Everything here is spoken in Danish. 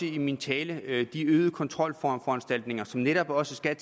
i min tale de øgede kontrolforanstaltninger som netop også skal